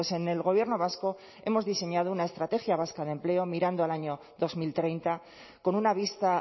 en el gobierno vasco hemos diseñado una estrategia vasca de empleo mirando al año dos mil treinta con una vista